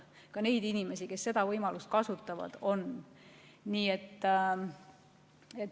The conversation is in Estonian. On ka neid inimesi, kes seda võimalust kasutavad.